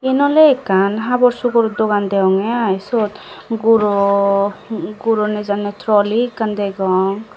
eyan oley ekkan habur sugor dogan deyongey aii seyot guro guro nejanney troly ekkan degong.